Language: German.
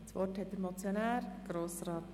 Das Wort hat der Motionär.